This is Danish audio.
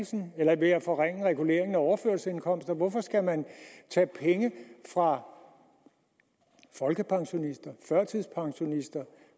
set gør ved at forringe reguleringen af overførselsindkomsterne hvorfor skal man tage penge fra folkepensionister førtidspensionister